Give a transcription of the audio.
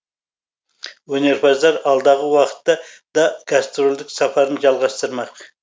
өнерпаздар алдағы уақытта да гастрольдік сапарын жалғастырмақ